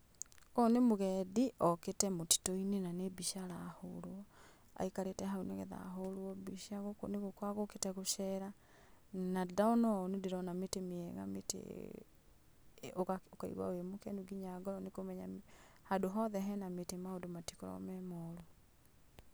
Ũyũ nĩ mũgendi okĩte mũtitũ-inĩ na nĩ mbica arahũrwo, aikarĩte haũ nĩgetha ahũrwo mbica. Gũũkũ nĩ gũka egũkĩte gũcera, na ndona ũũ nĩndĩrona mĩtĩ mĩega mĩtĩ ũga ũkaigwa wĩ mũkenu nginya ngoro n ĩkũmenya handũ hothe hena mĩtĩ maũndũ matikoragwo me moru.